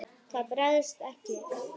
Það bregst ekki.